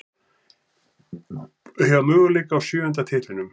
Eiga möguleika á sjöunda titlinum